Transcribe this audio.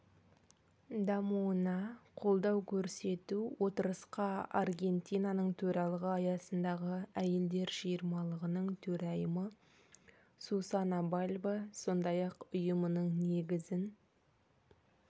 дамуына қолдау көрсету отырысқа аргентинаның төрағалығы аясындағы әйелдер жиырмалығының төрайымы сусана бальбо сондай-ақ ұйымының негізін